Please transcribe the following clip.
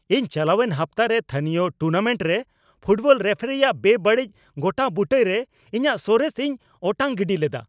ᱤᱧ ᱪᱟᱞᱟᱣᱮᱱ ᱦᱟᱯᱛᱟ ᱨᱮ ᱛᱷᱟᱹᱱᱤᱭᱚ ᱴᱩᱨᱱᱟᱢᱮᱱᱴ ᱨᱮ ᱯᱷᱩᱴᱵᱚᱞ ᱨᱮᱯᱷᱟᱨᱤ ᱟᱜ ᱵᱮᱼᱵᱟᱹᱲᱤᱡ ᱜᱚᱴᱟᱵᱩᱴᱟᱹᱭ ᱨᱮ ᱤᱧᱟᱹᱜ ᱥᱚᱨᱮᱥ ᱤᱧ ᱚᱴᱟᱝ ᱜᱤᱰᱤ ᱞᱮᱫᱟ ᱾